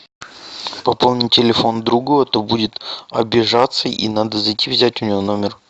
пополни телефон другу а то будет обижаться и надо зайти взять у него номер